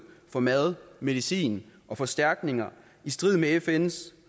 for mad medicin og forstærkninger i strid med fns